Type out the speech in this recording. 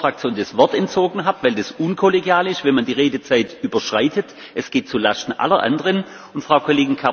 Und bei Ihnen war es der Umstand, dass ich einem Vertreter Ihrer Fraktion das Wort entzogen habe, weil es unkollegial ist, wenn man die Redezeit überschreitet.